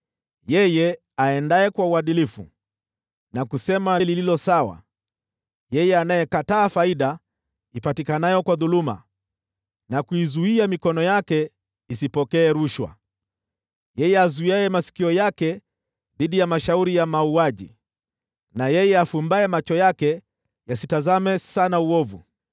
Yeye aendaye kwa uadilifu na kusema lililo haki, yeye anayekataa faida ipatikanayo kwa dhuluma na kuizuia mikono yake isipokee rushwa, yeye azuiaye masikio yake dhidi ya mashauri ya mauaji, na yeye afumbaye macho yake yasitazame sana uovu: